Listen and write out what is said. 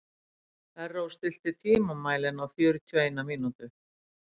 Erró, stilltu tímamælinn á fjörutíu og eina mínútur.